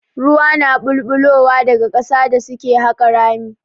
Ruwa na ɓulɓulowa daga ƙasa da suke haƙa rami.